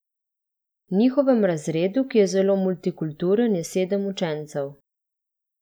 V njihovem razredu, ki je zelo multikulturen, je sedem učencev.